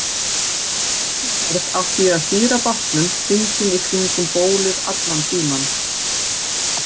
Á lítilli ferð átti ég að stýra bátnum hringinn í kringum bólið allan tímann.